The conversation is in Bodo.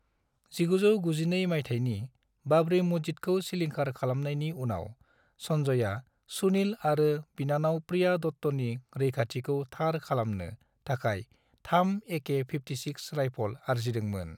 1992 मायथाइनि बाबरी मस्जिदखौ सिलिंखार खालामनायनि उनाव, संजयआ सुनील आरो बिनानाव प्रिया दत्तनि रैखाथिखौ थार खालामनो थाखाय 3 एके -56 राइफल आरजिदों मोन।